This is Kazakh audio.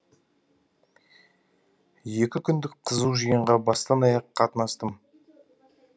екі күндік қызу жиынға бастан аяқ қатынастым